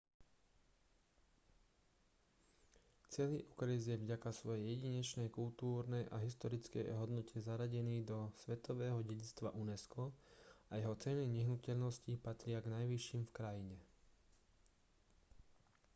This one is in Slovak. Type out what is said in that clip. celý okres je vďaka svojej jedinečnej kultúrnej a historickej hodnote zaradený do svetového dedičstva unesco a jeho ceny nehnuteľností patria k najvyšším v krajine